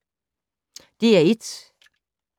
DR1